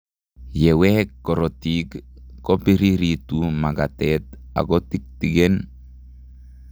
Yeweek korotiik kobiriritu makatet akotiktiken